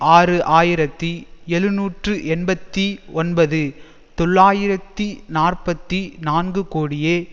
ஆறு ஆயிரத்தி எழுநூற்றி எண்பத்தி ஒன்பது தொள்ளாயிரத்தி நாற்பத்தி நான்கு கோடியே